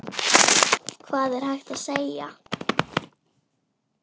Hvað er hægt að segja.